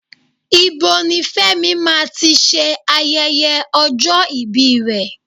Ibo ni Fẹ́mi máa ti ṣe ayẹyẹ ọjọ́ ibi rẹ̀?